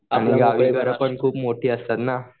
आणि गावी घरं पण खूप मोठी असतात ना